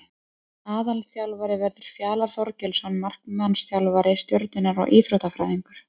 Aðalþjálfari verður Fjalar Þorgeirsson markmannsþjálfari Stjörnunnar og Íþróttafræðingur.